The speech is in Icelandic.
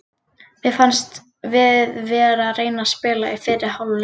Mér fannst við vera að reyna að spila í fyrri hálfleik.